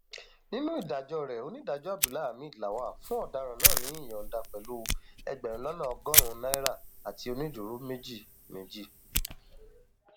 nínú ìdájọ rẹ onídàájọ abdulhamid lawal fún ọdaràn náà ní ìyọǹda pẹlú ẹgbẹrún lọnà ọgọrùnún naira àti onídùúró méjì méjì